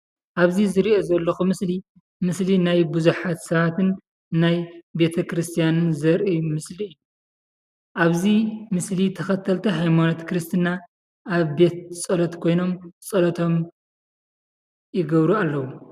ኣብዚ ዝሪኦ ዘለኹ ምስሊ ምስሊ ናይ ብዙሓት ሰባትን ናይ ቤተ-ክርስትያንን ዘርኢ ምስሊ እዩ፡፡ ኣብዚ ምስሊ ተኸተልቲ ሃይማኖት ክርስትና ኣብ ቤት ፀሎት ኮይኖም ፀሎቶም ይገብሩ ኣለው፡፡